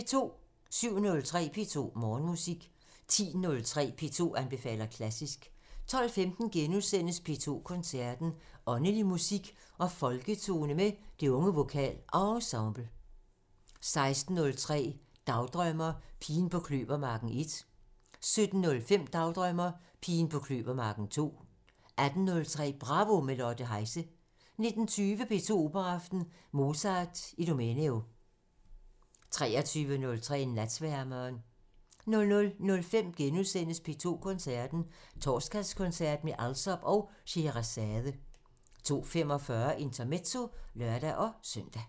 07:03: P2 Morgenmusik 10:03: P2 anbefaler klassisk 12:15: P2 Koncerten – Åndelig musik og folketone med Det Unge VokalEnsemble * 16:03: Dagdrømmer: Pigen på kløvermarken 1 17:05: Dagdrømmer: Pigen på kløvermarken 2 18:03: Bravo – med Lotte Heise 19:20: P2 Operaaften – Mozart: Idomeneo 23:03: Natsværmeren 00:05: P2 Koncerten – Torsdagskoncert med Alsop og Sheherazade * 02:45: Intermezzo (lør-søn)